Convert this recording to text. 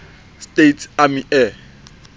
states army air